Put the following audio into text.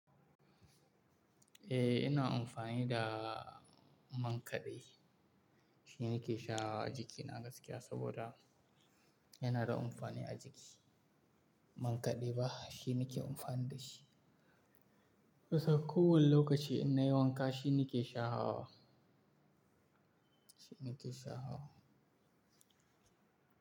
Eh, ina amfani da man kaɗe. Shi ne ke sha jikina gaskiya saboda yana da amfani a jiki. Man kaɗe ba, shi ne ke amfani da shi. Kusan kowane lokaci ina yi wanka, shi ne ke shahawa. Shi ne ke sha hawa.